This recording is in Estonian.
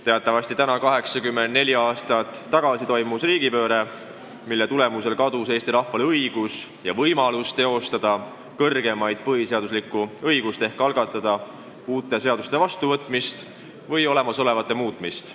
Teatavasti täna 84 aastat tagasi toimus riigipööre, mille tagajärjel kadus Eesti rahval õigus ja võimalus teostada kõrgeimat põhiseaduslikku õigust ehk algatada uute seaduste vastuvõtmist või olemasolevate muutmist.